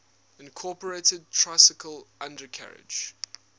incorporated tricycle undercarriage